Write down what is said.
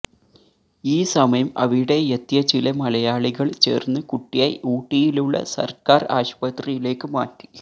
ഈ സമയം അവിടെ എത്തിയ ചില മലയാളികള് ചേര്ന്ന് കുട്ടിയെ ഊട്ടിയിലുള്ള സര്ക്കാര് ആശുപത്രിയിലേക്ക് മാറ്റി